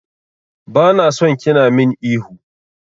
Bana son kina min ihu.